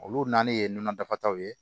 Olu naani ye nɔnɔ dafaw ye